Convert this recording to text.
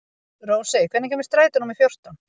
Rósey, hvenær kemur strætó númer fjórtán?